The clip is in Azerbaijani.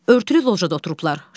Örtülü lojada oturublar.